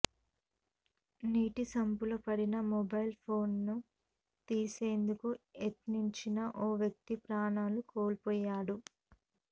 నీటి సంపులో పడిన మొబైల్ ఫోన్ను తీసేందుకు యత్నించిన ఓ వ్యక్తి ప్రాణాలు కోల్పోయాడు